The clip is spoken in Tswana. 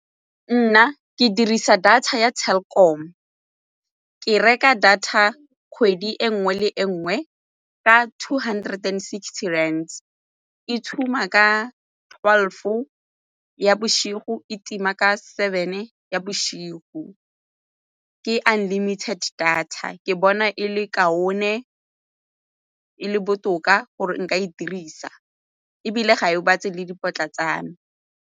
Nna ke dirisa data ya Telkom, ke reka data kgwedi e nngwe le e nngwe ka two hundred and sixty rand, e tshuma ka twelve-fo ya bosigo, e tima ka seven ya bosigo ke unlimited data. Ke bona e le kaone e le botoka gore nka e dirisa ebile ga e gobatse le dipotla tsa me.